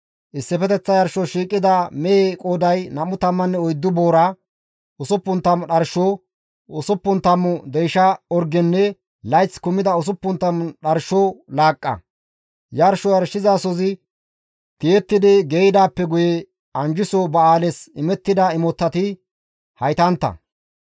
Issifeteththa yarshos shiiqida mehe qooday 24 boora, 60 dharsho, 60 deysha orgenne layth kumida 60 dharsho laaqqa; yarsho yarshizasozi tiyetti geeyidaappe guye anjjiso ba7aales imettida imotati haytantta.